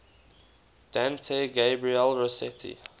dante gabriel rossetti